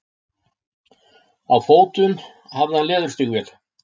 Á fótum hafði hann leðurstígvél.